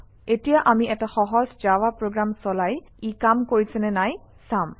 এতিয়া আমি এটা সহজ জাভা প্ৰগ্ৰাম চলাই ই কাম কৰিছে নে নাই চাম